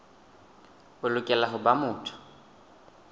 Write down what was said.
o lokela ho ba motho